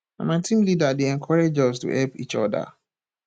na my team leader dey encourage us to help each oda